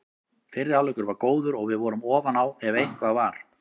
Fyrri hálfleikur var góður og við vorum ofan á ef eitthvað var.